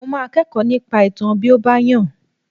Mo máa kẹ́kọ̀ọ́ nípa ìtàn bí ó bá yàn